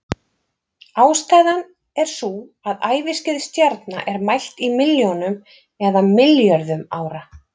ástæðan er sú að æviskeið stjarna er mælt í milljónum eða milljörðum ára